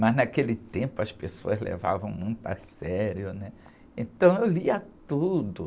Mas naquele tempo as pessoas levavam muito a sério, né? Então eu lia tudo.